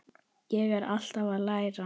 Ég er alltaf að læra.